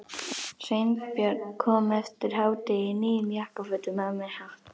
Sveinbjörn kom eftir hádegi í nýjum jakkafötum og með hatt.